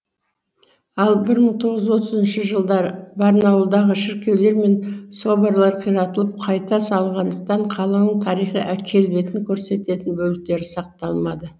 ал бір мың тоғыз жүз отызыншы жылдары барнауылдағы шіркеулер мен соборлар қиратылып қайта салынғандықтан қаланың тарихи келбетін көрсететін бөліктері сақталмады